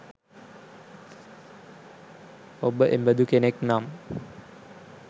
ඔබ එබඳු කෙනෙක් නම්